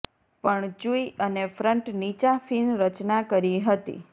પણ ચૂઇ અને ફ્રન્ટ નીચા ફિન રચના કરી હતી